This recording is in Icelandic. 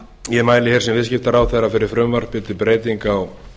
ég mæli hér sem viðskiptaráðherra fyrir frumvarpi til breytinga á